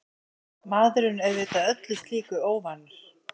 Maðurinn auðvitað öllu slíku óvanur.